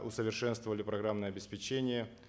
усовершенствовали программное обеспечение